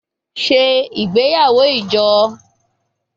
Ṣe igbeyawo ijo!